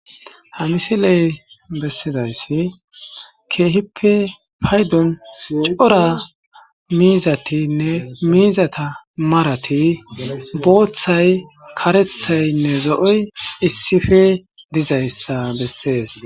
Ha misiley bessizayssi keehippe paydon cora miizatinne miizata marati booththay karethaynne zo7oy issife dizayssa bessees.